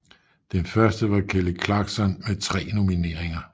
Den første var Kelly clarkson med tre nomineringer